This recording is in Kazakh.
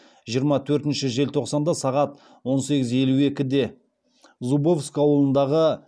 жиырма төртінші желтоқсанда сағат он сегіз елу екіде зубовск ауылындағы